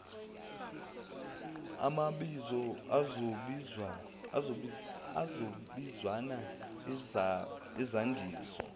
amabizo izabizwana izandiso